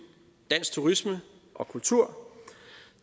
dansk turisme og kultur